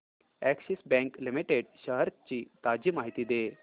Axis bank limited shares ची ताजी माहिती दे